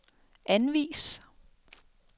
anvis